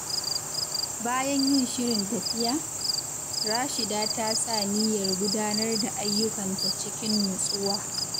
Bayan yin shirin tafiya, Rashida ta sa niyyar gudanar da ayyukanta cikin nutsuwa.